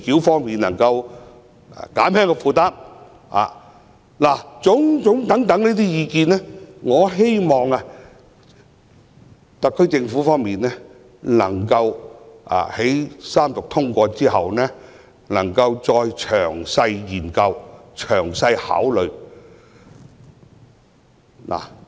凡此種種意見，我希望特區政府在三讀通過《條例草案》後，能夠作出詳細的研究和考慮。